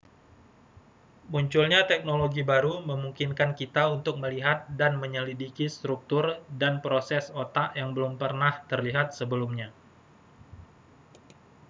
munculnya teknologi baru memungkinkan kita untuk melihat dan menyelidiki struktur dan proses otak yang belum pernah terlihat sebelumnya